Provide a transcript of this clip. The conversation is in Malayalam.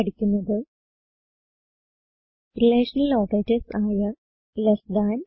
ഇവിടെ പഠിക്കുന്നത് റിലേഷണൽ ഓപ്പറേറ്റർസ് ആയ ലെസ് താൻ